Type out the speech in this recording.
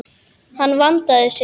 Hann vandaði sig.